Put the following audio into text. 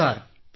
thank you